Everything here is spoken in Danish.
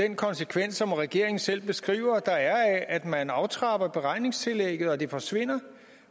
den konsekvens som regeringen selv beskriver der er af at man aftrapper beregningstillægget og at det forsvinder